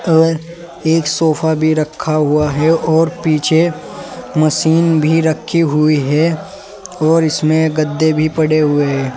और एक सोफा भी रखा हुआ है और पीछे मशीन भी रखी हुई है और इसमें गद्दे भी पड़े हुए है।